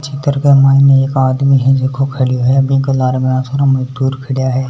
चित्र के माइन एक आदमी है जको खड़ो है बि के लार घणा सारा मजदूर खड़ा है।